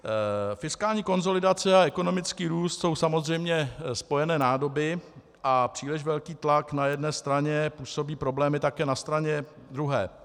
Fiskální konsolidace a ekonomický růst jsou samozřejmě spojené nádoby a příliš velký tlak na jedné straně působí problémy také na straně druhé.